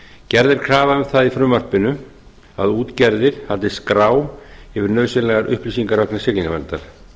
er krafa um það í frumvarpinu að útgerðir haldi skrá yfir nauðsynlega upplýsingaöflun siglingaverndar